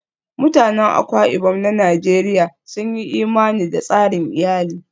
Mutanen Akwa Ibom na Najeriya sun yi imani da tsarin iyali